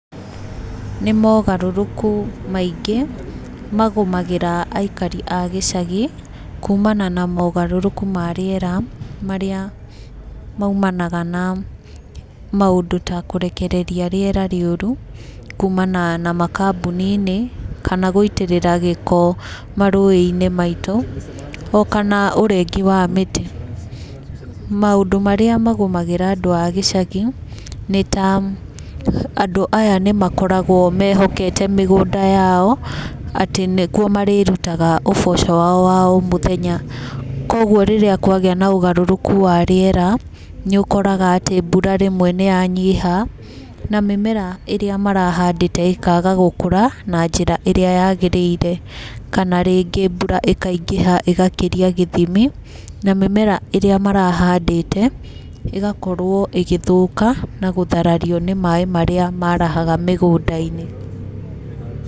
Nĩmogarũrũku maingĩ magũmagĩra aikari a gĩcagi kumana na mogarũrũku ma rĩera. Marĩa maumanaga na maũndũ ta kũrekereria rĩera rĩũru, kumana na makambuninĩ. Kana gũitĩrĩra gĩko marũĩ-ĩnĩ maitũ, o kana ũrengi wa mĩtĩ. Maũndũ marĩa magũmagĩra andũ a gĩcagi nĩ ta andũ aya nĩmakoragwo mehokete mĩgũnda yao atĩ nĩkuo marĩrutaga ũboco wao wa o mũthenya. Koguo rĩrĩa kwagĩa na ũgarũrũku wa rĩera, nĩũkoraga atĩ mbura rĩmwe nĩyanyiha, na mĩmera ĩrĩa marahandĩte ĩkaga gũkũra na njĩra ĩrĩa yagĩrĩire. Kana rĩngĩ mbura ĩkaingĩha ĩgakĩria gĩthimi, na mĩmera ĩrĩa marahandĩte ĩgakorwo ĩgĩthũka na gũtharario nĩ maĩ marĩa maraha mĩgũnda-inĩ.